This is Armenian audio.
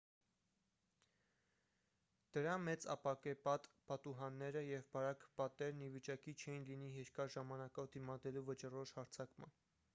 դրա մեծ ապակեպատ պատուհանները և բարակ պատերն ի վիճակի չէին լինի երկար ժամանակով դիմադրելու վճռորոշ հարձակման